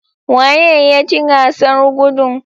Waye ya ci gasar gudun?